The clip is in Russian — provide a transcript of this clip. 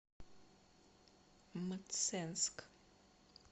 мценск